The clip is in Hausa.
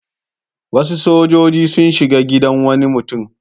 Wasu sojoji sun shiga gidan wani mutum.